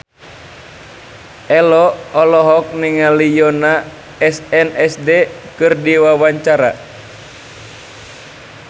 Ello olohok ningali Yoona SNSD keur diwawancara